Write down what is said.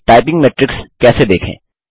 typing metrics कैसे देखें